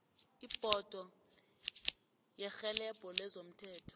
ibhodo yerhelebho lezomthetho